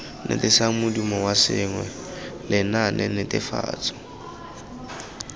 etsisang modumo wa sengwe lenaanenetefatso